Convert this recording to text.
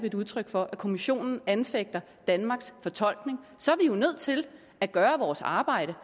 et udtryk for at kommissionen anfægter danmarks fortolkning så er vi jo nødt til at gøre vores arbejde